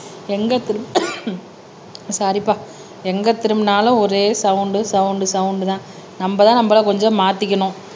சாரிப்பா எங்க திரும்பினாலும் ஒரே சவுண்ட் சவுண்ட் சவுண்ட்தான் நம்மதான் நம்மளை கொஞ்சம் மாத்திக்கணும்